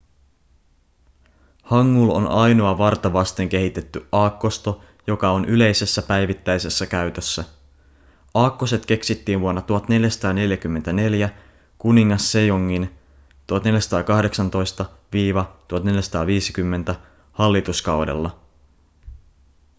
hangul on ainoa varta vasten kehitetty aakkosto joka on yleisessä päivittäisessä käytössä. aakkoset keksittiin vuonna 1444 kuningas sejongin 1418–1450 hallituskaudella